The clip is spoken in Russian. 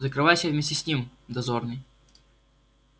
закрывайся вместе с ним дозорный